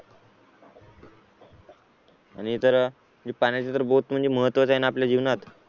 आणि तर पाण्याचे तर बहोत म्हणजे महत्त्वाचं आहे ना आपल्या जीवनात